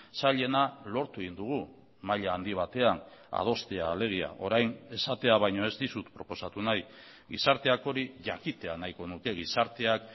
zailena lortu egin dugu maila handi batean adostea alegia orain esatea baino ez dizut proposatu nahi gizarteak hori jakitea nahiko nuke gizarteak